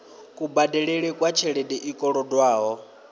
kubadelele kwa tshelede i kolodwaho